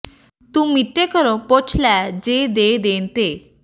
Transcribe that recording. ਤੂੰ ਮੀਤੇ ਘਰੋ ਪੁੱਛ ਲੈ ਜੇ ਦੇ ਦੇਣ ਤੇ